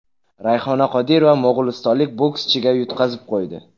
Rayhona Qodirova mo‘g‘ulistonlik bokschiga yutqazib qo‘ydi.